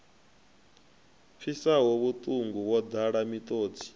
pfisaho vhuṱungu wo ḓala miṱodzi